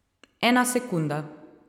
Ena sekunda.